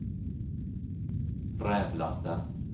Rävlanda